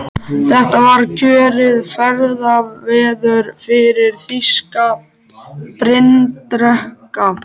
Þetta var kjörið ferðaveður fyrir þýska bryndreka.